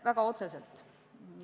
Väga otseselt.